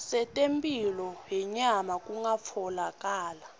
setemphilo yenyama kungatfolakala